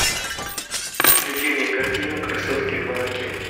включи мне картину красотки в молоке